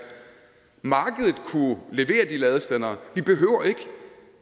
markedet kunne levere de ladestandere vi behøver ikke